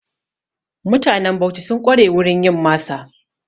Mutanen Bauchi sun ƙware a wurin yin masa.